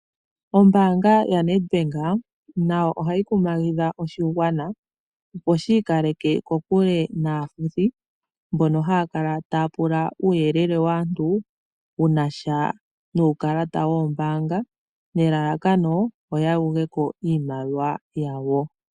Ombaanga ya Nedbank nayo ohayi kumagidha oshigwana opo shi ikaleke kokule naafuthi mbono haya kala taya pula uuyelele waantu wunasha nuukalata woombaanga nelalakano oya yugeko iimaliwa yawo.